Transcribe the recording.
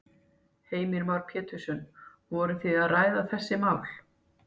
Heimir Már Pétursson: Voru þið að ræða þessi mál?